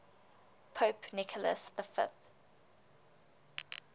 pope nicholas v